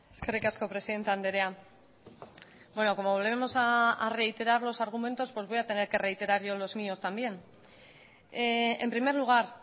eskerrik asko presidente andrea bueno como volveremos a reiterar los argumentos voy a tener que reiterar yo los míos también en primer lugar